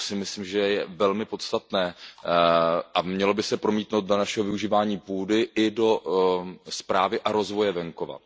To si myslím, že je velmi podstatné a mělo by se to promítnout do našeho využívání půdy i do správy a rozvoje venkova.